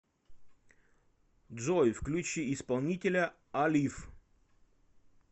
джой включи исполнителя алив